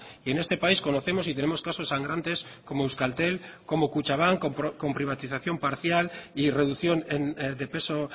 y en este país conocemos y tenemos casos sangrantes como euskaltel como kutxabank con privatización parcial y reducción de peso